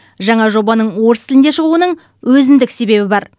жаңа жобаның орыс тілінде шығуының өзіндік себебі бар